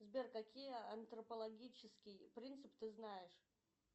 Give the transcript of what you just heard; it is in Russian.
сбер какие антропологические принципы ты знаешь